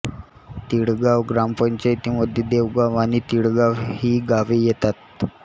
तिळगाव ग्रामपंचायतीमध्ये देवगाव आणि तिळगाव ही गावे येतात